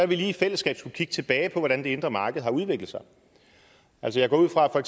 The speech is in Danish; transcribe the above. vi lige i fællesskab skulle kigge tilbage på hvordan det indre marked har udviklet sig jeg går ud fra at